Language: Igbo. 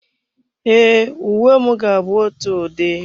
E, uwe mụ na gị bu ótụ ụdị